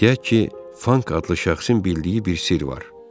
Deyək ki, Fank adlı şəxsin bildiyi bir sirr var.